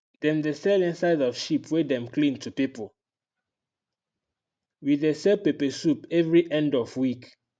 dem dey sell inside of sheep wey dem clean to pipu wey dey sell peppersoup every end of week